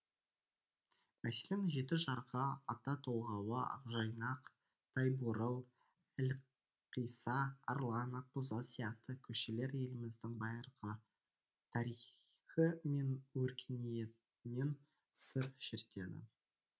мәселен жеті жарғы ата толғауы ақжайнақ тайбурыл әлқисса арлан ақбозат сияқты көшелер еліміздің байырғы тарихы мен өркениетінен сыр шертеді